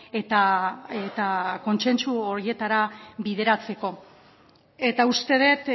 eta kontsentsu horietara bideratzeko eta uste dut